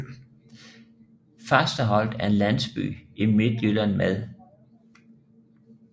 Fasterholt er en landsby i Midtjylland med